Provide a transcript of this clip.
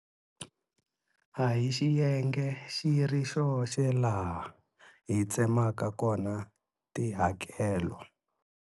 A hi xiyenge xi ri xoxe laha hi tsemaka kona tihakelo.